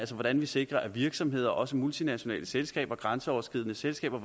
hvordan vi sikrer at virksomheder også multinationale selskaber og grænseoverskridende selskaber